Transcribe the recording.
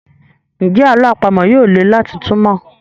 Njé àlọ́ àpamọ̀ yí yóò lẹ láti túmọ?